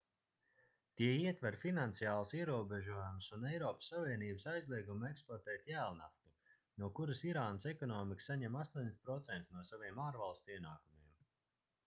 tie ietver finansiālus ierobežojumus un eiropas savienības aizliegumu eksportēt jēlnaftu no kuras irānas ekonomika saņem 80% no saviem ārvalstu ienākumiem